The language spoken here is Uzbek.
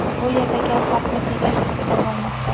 Bu yerda gap vaqtni tejash haqida bormoqda.